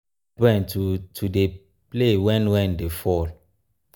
e calm my brain to to dey play wen rain dey fall.